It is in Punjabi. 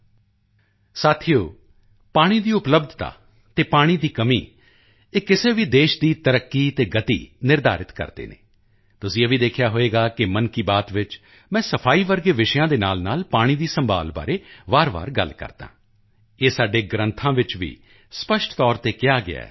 ਦੋਸਤੋ ਪਾਣੀ ਦੀ ਉਪਲਬਧਤਾ ਅਤੇ ਪਾਣੀ ਦੀ ਕਮੀ ਇਹ ਕਿਸੇ ਵੀ ਦੇਸ਼ ਦੀ ਤਰੱਕੀ ਅਤੇ ਗਤੀ ਨਿਰਧਾਰਿਤ ਕਰਦੇ ਹਨ ਤੁਸੀਂ ਇਹ ਵੀ ਦੇਖਿਆ ਹੋਵੇਗਾ ਕਿ ਮਨ ਕੀ ਬਾਤ ਵਿੱਚ ਮੈਂ ਸਫਾਈ ਵਰਗੇ ਵਿਸ਼ਿਆਂ ਦੇ ਨਾਲਨਾਲ ਪਾਣੀ ਦੀ ਸੰਭਾਲ਼ ਬਾਰੇ ਵਾਰਵਾਰ ਗੱਲ ਕਰਦਾ ਹਾਂ ਇਹ ਸਾਡੇ ਗ੍ਰੰਥਾਂ ਵਿੱਚ ਸਪਸ਼ਟ ਤੌਰ ਤੇ ਕਿਹਾ ਗਿਆ ਹੈ